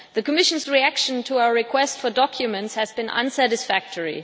The Commission's reaction to our request for documents has been unsatisfactory.